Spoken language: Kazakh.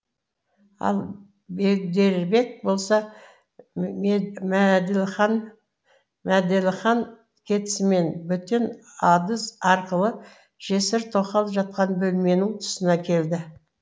ал бегдербек болса мәделіхан кетісімен бөтен адыз арқылы жесір тоқал жатқан бөлменің тұсына келді